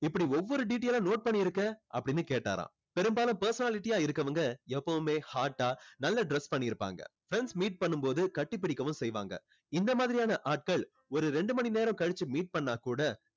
இப்படி ஒவ்வொரு detail ஆ note பண்ணிருக்க அப்படின்னு கேட்டாராம் பெரும்பாலும் personality ஆ இருக்கவங்க எப்போவுமே hot ஆ நல்லா dress பண்ணி இருப்பாங்க friends meet பண்ணும் போது கட்டி புடிக்கவும் செய்வாங்க இந்த மாதிரியான ஆட்கள் ஒரு ரெண்டு மணி நேரம் கழிச்சு meet பண்ணினா கூட